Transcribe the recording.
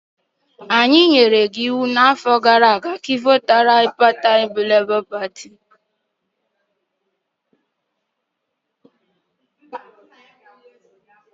Anyị nyere gị iwu n'afọ gara aga ka ị votu maka pati Labour.